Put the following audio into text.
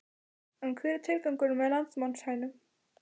En hver er tilgangurinn með landnámshænunum?